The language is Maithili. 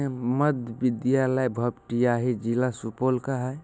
मध्य विद्यालय भपटियाही जिला सुपौल जिले का है।